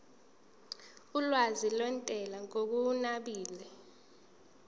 olwazi lwentela ngokunabile